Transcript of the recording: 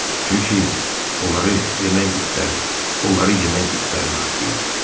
Çünki onları yemək itləri, onları yemək itlərin haqqı idi.